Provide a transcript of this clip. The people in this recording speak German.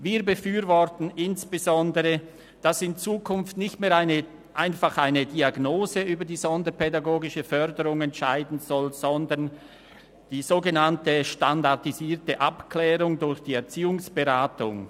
Wir befürworten insbesondere, dass in Zukunft nicht mehr einfach eine Diagnose über die sonderpädagogische Förderung entscheiden soll, sondern das sogenannte SAV durch die Erziehungsberatung.